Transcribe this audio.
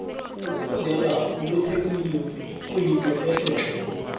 ukufundela ubutekniri kuyinto ehle tle